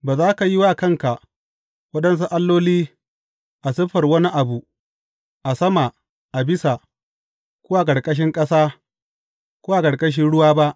Ba za ka yi wa kanka waɗansu alloli a siffar wani abu a sama a bisa, ko a ƙarƙashin ƙasa, ko a ƙarƙashin ruwa ba.